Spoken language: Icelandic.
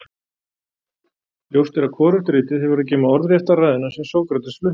Ljóst er að hvorugt ritið hefur að geyma orðrétta ræðuna sem Sókrates flutti.